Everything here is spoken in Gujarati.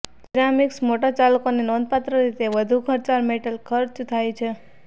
સિરામિક્સ મોટરચાલકોને નોંધપાત્ર રીતે વધુ ખર્ચાળ મેટલ ખર્ચ થાય છે